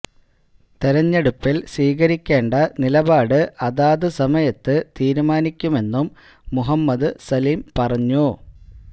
തെരഞ്ഞെടുപ്പിൽ സ്വീകരിക്കേണ്ട നിലപാട് അതാതു സമയത്ത് തീരുമാനിക്കുമെന്നും മുഹമ്മദ് സലിം പറഞ്ഞു